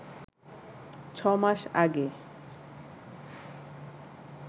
ছ মাস আগে